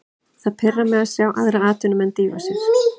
Það pirrar mig að sjá aðra atvinnumenn dýfa sér.